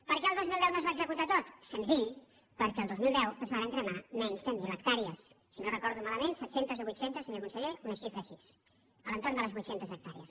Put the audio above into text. per què el dos mil deu no es va executar tot senzill perquè el dos mil deu es varen cremar menys de mil hectàrees si no ho recordo malament set centes o vuit centes senyor conseller una xifra així a l’entorn de les vuit centes hectàrees